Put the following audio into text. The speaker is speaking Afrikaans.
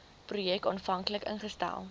projek aanvanklik ingestel